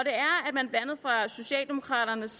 man fra socialdemokraternes